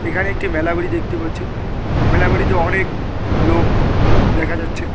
এখানে একটি মেলাবেড়ি দেখতে পাচ্ছি মেলাবেড়িতে অনেক লোক দেখা যাচ্ছে।